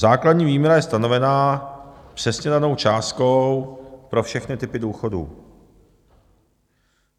Základní výměra je stanovena přesně danou částkou pro všechny typy důchodů.